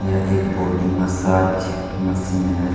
यह एक body massage machine है।